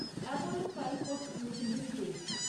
Apollo tricoat tube limited